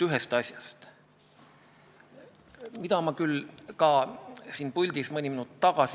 Aadu Must küsis Keeleinspektsiooni peadirektorilt Ilmar Tomuskilt, kuidas Keeleinspektsiooni töö muutuks, kui eelnõu seadusena vastu võetaks.